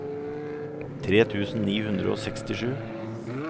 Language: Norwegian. tre tusen ni hundre og sekstisju